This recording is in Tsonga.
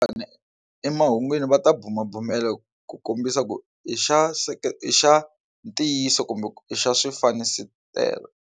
Ina, emahungwini va ta bumabumela ku kombisa ku i xa i xa ntiyiso kumbe i xa swifaniso .